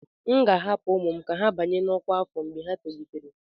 M ga-ahapụ ụmụ m ka ha banye na ọkwa afọ mgbe ha tolitere.